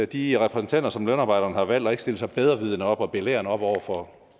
de repræsentanter som lønarbejderne har valgt og ikke stille sig bedrevidende op og belærende op over for